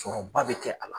Sɔrɔba bɛ kɛ a la